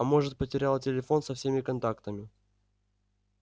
а может потеряла телефон со всеми контактами